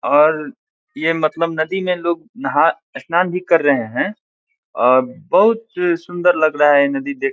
और ये मतलब नदी में लोग नहा स्नान भी कर रहे हैं और बहुत सुंदर लग रहा है ये नदी देख --